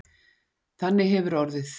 Þannig hefur orðið